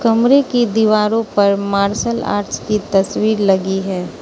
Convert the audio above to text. कमरे की दीवारों पर मार्शल आर्ट्स की तस्वीर लगी है।